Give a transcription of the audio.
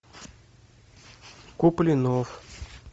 куплинов